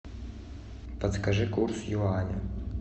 подскажи курс юаня